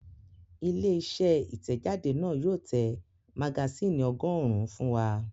Ilé-iṣẹ́ Ìtẹ̀jáde náà yóò tẹ magasínì ọgọ́rùn-ún fún wa.